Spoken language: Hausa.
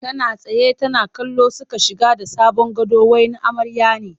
Tana tsaye tana kallo suka shige da sabon gado wai na amarya ne